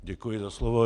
Děkuji za slovo.